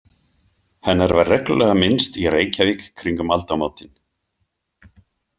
Hennar var reglulega minnst í Reykjavík kringum aldamótin.